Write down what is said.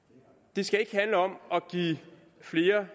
det skal ikke handle om at give flere